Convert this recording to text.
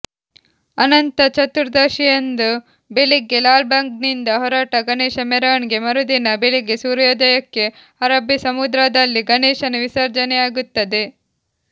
ಅನಂತಚತುರ್ದಶಿಯಂದು ಬೆಳಿಗ್ಗೆ ಲಾಲ್ಬಾಗ್ನಿಂದ ಹೊರಟ ಗಣೇಶ ಮೆರವಣಿಗೆ ಮರುದಿನ ಬೆಳಿಗ್ಗೆ ಸೂರ್ಯೋದಯಕ್ಕೆ ಅರಬ್ಬಿ ಸಮುದ್ರದಲ್ಲಿ ಗಣೇಶನ ವಿಸರ್ಜನೆಯಾಗುತ್ತದೆ